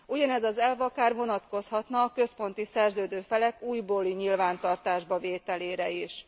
Ugyanez az elv akár vonatkozhatna a központi szerződő felek újbóli nyilvántartásba vételére is.